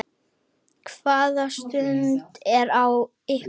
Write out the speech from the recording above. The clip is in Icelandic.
Hvaða stand er á ykkur?